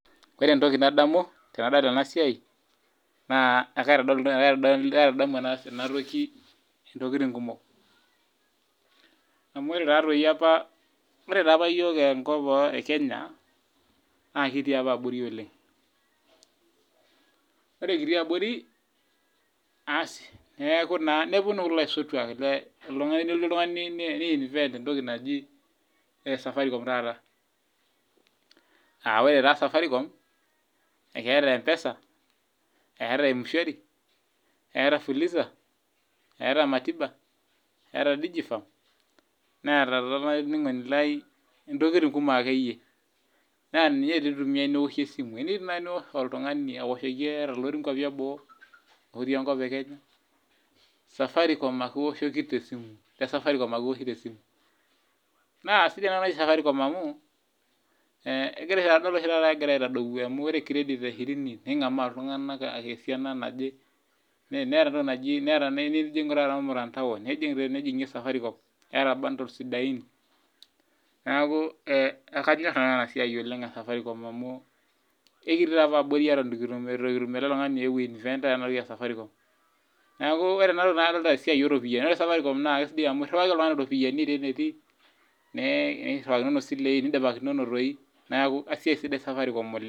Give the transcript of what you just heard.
Ore entoki nadamu tanadol enasia na kaitadamu nkolongi natoki ntokitin kumok au ore apa iyook enkop ekenya na ekitii apa oleng ore kitii abori oleng nelotu oltungani ni invent entoki naji Safaricom taata aa ore Safaricom keeta mpesa, eeta mswari eeta fulisa eeta digifam neeta ntokitin kumok eniyieu nai niosh esimu ata olotii nkwapi eboo otii enkop ekenya tesafaricom ake iwoshoki esimu na sidai enatoki amu adolita oshi taata egira aitadou ataa ipik kiredit eshirini ningamaa ltunganak esiana naje nijingie Safaricom neaku ekanyir nanu enasia oleng amu ekitii apa abori neaku ore enatoki na kadolita esiaia oropiyiani ore Safaricom na iriwaki oltungani iropiyiani tewoi natii niriwakinoo silei neaku esiai sidai Safaricom oleng.